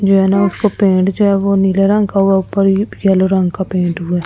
जो है ना उसको पेंट जो है वो नीले रंग का हुआ ऊपर येलो रंग का पेंट हुआ है ।